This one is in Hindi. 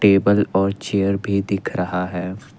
टेबल और चेयर भी दिख रहा है।